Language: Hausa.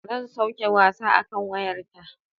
Zan sauke wasa akan wayar ta.